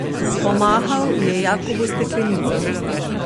Pomahal je Jakobu s steklenico.